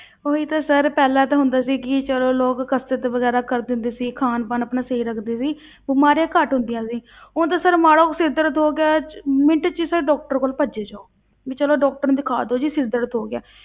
ਉਹੀ ਤਾਂ sir ਪਹਿਲਾਂ ਤਾਂ ਹੁੰਦਾ ਸੀ ਕਿ ਚਲੋ ਲੋਕ ਕਸ਼ਰਤ ਵਗ਼ੈਰਾ ਕਰਦੇ ਹੁੰਦੇ ਸੀ, ਖਾਣ ਪਾਣ ਆਪਣਾ ਸਹੀ ਰੱਖਦੇ ਸੀ ਬਿਮਾਰੀਆਂ ਘੱਟ ਹੁੰਦੀਆਂ ਸੀ ਹੁਣ ਤਾਂ sir ਮਾੜਾ ਕੁ ਸਿਰ ਦਰਦ ਹੋ ਗਿਆ ਚ ਮਿੰਟ ਵਿੱਚ sir doctor ਕੋਲ ਭੱਜੇ ਜਾਓ, ਵੀ ਚਲੋ doctor ਨੂੰ ਦਿਖਾ ਦਓ ਜੀ ਸਿਰ ਦਰਦ ਹੋ ਗਿਆ